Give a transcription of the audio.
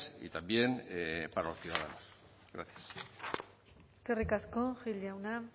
y también para los ciudadanos gracias eskerrik asko gil jauna